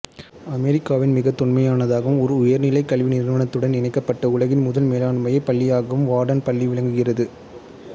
அமெரிக்காவின் மிகத் தொன்மையானதாகவும் ஓர் உயர்நிலை கல்விநிறுவனத்துடன் இணைக்கப்பட்ட உலகின் முதல் மேலாண்மைப் பள்ளியாகவும் வார்ட்டன் பள்ளி விளங்குகிறது